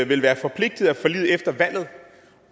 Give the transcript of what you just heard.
vil være forpligtet af forliget efter valget